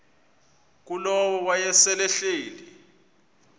ngulowo wayesel ehleli